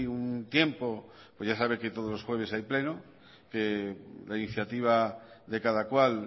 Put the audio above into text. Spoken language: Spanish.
un tiempo pues ya sabe que todos los jueves hay pleno que la iniciativa de cada cual